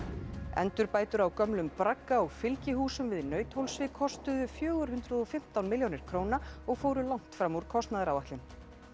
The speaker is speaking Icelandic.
endurbætur á gömlum bragga og fylgihúsum við Nauthólsvík kostuðu fjögur hundruð og fimmtán milljónir króna og fóru langt fram úr kostnaðaráætlun